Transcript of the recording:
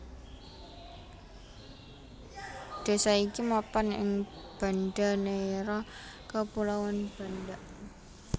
Désa iki mapan ing Banda Neira Kepulauan Banda